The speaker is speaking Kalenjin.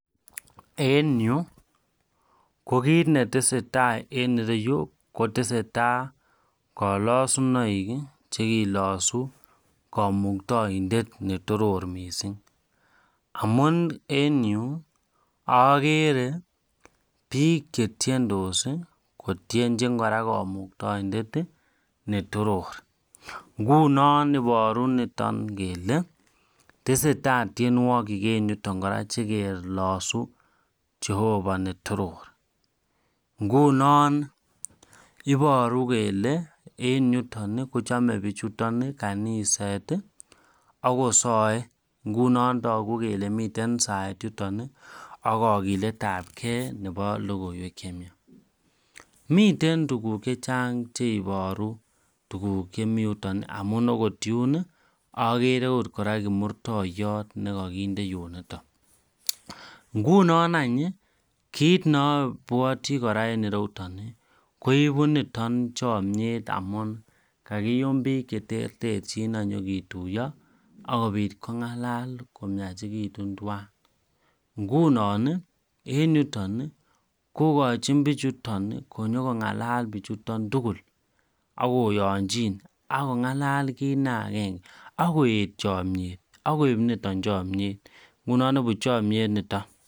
En ko kit netesetai en ireyu kotestai kalasunaik chekelash kamuktaendet netoror mising amun en Yu agere bik chetiendos kotinchin kora kamuktaendet netoror ngunon ibaru niton kele tesetai tienwagik Iger niton chekelasu chehova netoror ngunon ibaru kele en yuton Kole tesetai tienwagik koraa chekelasu Jehova netororngunon ibaru kele en yuton kochame bichuton kanisa akosae ngunon tagu kele miten saet yuton akakilet ab gei Nebo logoiwek chemiach miten tuguk chechang chebaru tuguk Chemiten yuton amun okot Yun agere okot koraa kimuktaindet nekakinde yosta ngunon any kit neabwati koraa en ireyu koibu niton chamyet amun kakiyum bik cheterteren akinyo ketuiyo akobit kongalal komiachekitunbtwan ngunon en yuton kokachin bichuton konyo kongalal bichuton tugul akoyanchin akongalal kit neagenge akoet chamyet akoib niton chamiet akoik chamnyet niton